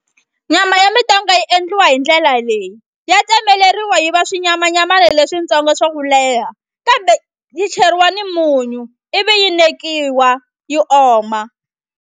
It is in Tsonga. Nyama ya mitonga yi endliwa hi ndlela leyi ya tsemeleriwa yi va swinyamanyamana leswintsongo swa ku leha kambe yi cheriwa ni munyu ivi yi nekiwa yi oma.